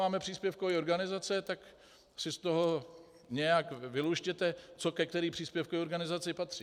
Dáváme příspěvkové organizace, tak si z toho nějak vyluštěte, co ke které příspěvkové organizaci patří.